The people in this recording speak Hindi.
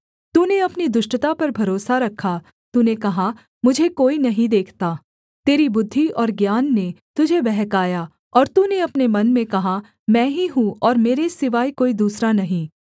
तूने अपनी दुष्टता पर भरोसा रखा तूने कहा मुझे कोई नहीं देखता तेरी बुद्धि और ज्ञान ने तुझे बहकाया और तूने अपने मन में कहा मैं ही हूँ और मेरे सिवाय कोई दूसरा नहीं